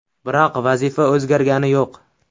Biroq vazifa o‘zgargani yo‘q.